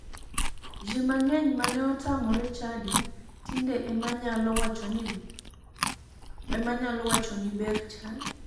Ji mang'eny mane otamore chadi tinde ema nyalo wachoni ber chadi.